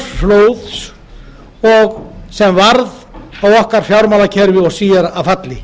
fyrstu orsök þess lánsfjárflóðs sem varð fjármálakerfi okkar síðar að falli